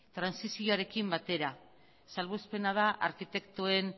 trantsizioarekin batera salbuespena da arkitektuen